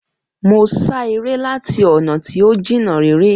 Mo ṣá eré láti ọ̀nà tí ó jìnnà réré